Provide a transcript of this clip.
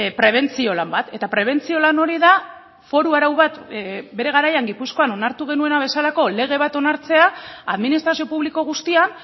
prebentzio lan bat eta prebentzio lan hori da foru arau bat bere garaian gipuzkoan onartu genuena bezalako lege bat onartzea administrazio publiko guztian